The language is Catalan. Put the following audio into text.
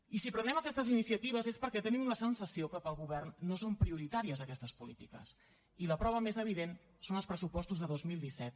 i si prenem aquestes iniciatives és perquè tenim la sensació que per al govern no són prioritàries aquestes polítiques i la prova més evident són els pressupostos de dos mil disset